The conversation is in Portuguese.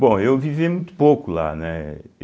Bom, eu vivi muito pouco lá, né?